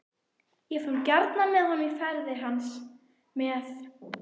Ég fór gjarnan með honum í ferðir hans með